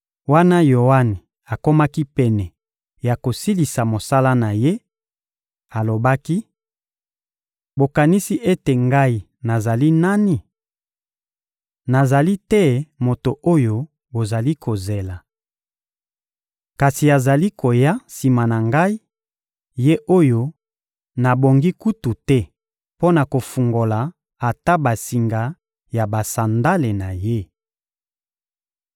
Wana Yoane akomaki pene ya kosilisa mosala na ye, alobaki: «Bokanisi ete ngai nazali nani? Nazali te Moto oyo bozali kozela. Kasi azali koya sima na ngai, Ye oyo nabongi kutu te mpo na kofungola ata basinga ya basandale na Ye!»